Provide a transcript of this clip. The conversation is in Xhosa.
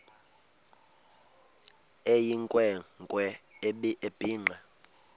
eyinkwe nkwe ebhinqe